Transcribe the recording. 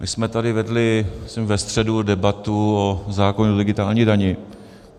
My jsme tady vedli myslím ve středu debatu o zákonu o digitální dani.